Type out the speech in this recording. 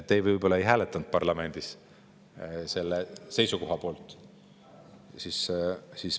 Te võib-olla ei hääletanud parlamendis selle seisukoha poolt.